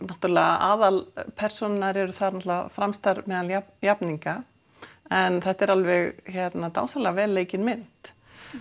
náttúrulega aðalpersónurnar eru þar fremstar meðal jafningja en þetta er alveg dásamlega vel leikin mynd